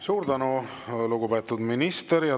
Suur tänu, lugupeetud minister!